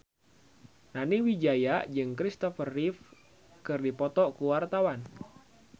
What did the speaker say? Nani Wijaya jeung Christopher Reeve keur dipoto ku wartawan